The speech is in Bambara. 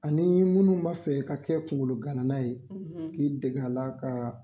Ani munnu b'a fɛ ka kɛ kungolo gana na ye k'i dege a la ka